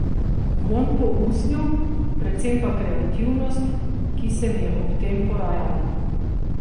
Vonj po usnju, predvsem pa kreativnost, ki se mi je ob tem porajala.